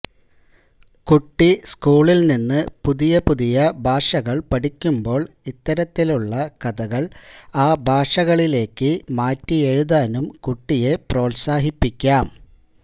കുട്ടി സ്കൂളില് നിന്ന് പുതിയ പുതിയ ഭാഷകള് പഠിക്കുമ്പോള് ഇത്തരത്തിലുള്ള കഥകള് ആ ഭാഷകളിലേക്ക് മാറ്റിയെഴുതാനും കുട്ടിയെ പ്രോത്സാഹിപ്പിക്കാം